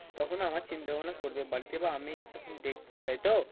তখন আমার চিন্তা ভাবনা করবে বাড়িতে বা আমি তখন দেখবো তাই তো?